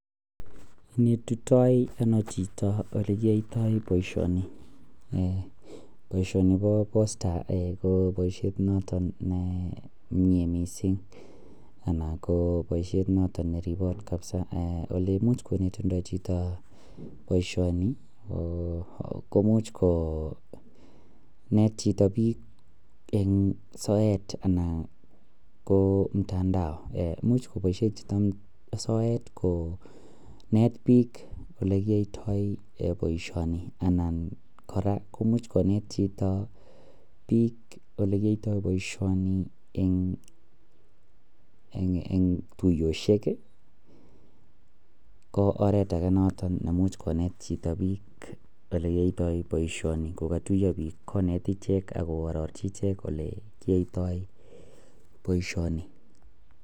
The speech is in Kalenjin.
Onetitoi ano chito olekiboisyoto boisioni, boisioni po POSTA ko poisiet noton nemie missing, anan ko boisiet noton neribot kabza oleimuch konetindo chito komuch komut chito biik en soet anan ko mtandao, imuch koboisien chito soet koneet biik olekitoito boisioni ,kora komuch koneet chito biik olekiyoito boisioni en tuyosyek ko oreet ake noton neimuch koneet chito biik olekiyoiton boisioni kogotuiyo biik koneet ichek ak koororchi ichek olekiyoito boisioni.